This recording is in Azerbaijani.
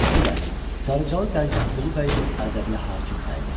Xüsusilə Sarıcalı Dərgahqulu Bəyi Ərdəbilə hakim təyin etdi.